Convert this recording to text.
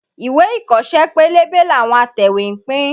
Ìwé ìkọ́ṣẹ́ pélébé làwọn atẹ̀wétà ń pín.